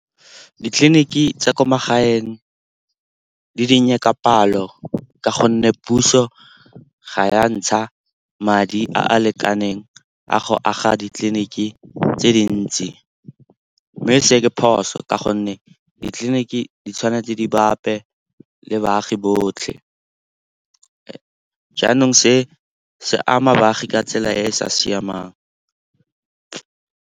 Ditleliniki tsa kwa magaeng di dinnye ka palo ka gonne puso ga ya ntsha madi a a lekaneng a go aga ditleliniki tse dintsi. Mme se ke phoso ka gonne ditleliniki di tshwanetse di bape le baagi botlhe. Jaanong se se ama baagi ka tsela e e sa siamang.